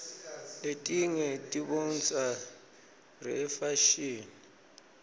letinge tiboncsa reyefashini